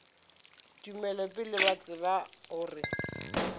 tumelo pele ba tseba gore